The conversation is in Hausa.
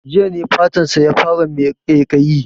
Jiya ne fatan sa ya fara mai ƙaiƙayi